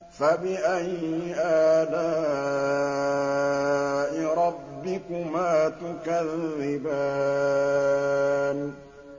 فَبِأَيِّ آلَاءِ رَبِّكُمَا تُكَذِّبَانِ